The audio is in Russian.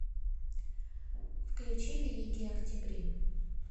включи великие октябри